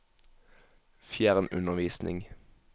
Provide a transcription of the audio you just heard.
fjernundervisning